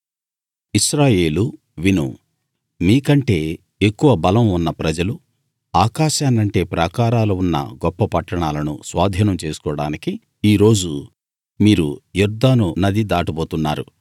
ఇశ్రాయేలూ విను మీకంటే ఎక్కువ బలం ఉన్న ప్రజలు ఆకాశాన్నంటే ప్రాకారాలు ఉన్న గొప్ప పట్టణాలను స్వాధీనం చేసుకోడానికి ఈ రోజు మీరు యొర్దాను నది దాటబోతున్నారు